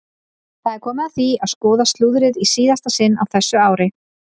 Það er komið að því að skoða slúðrið í síðasta sinn á þessu ári!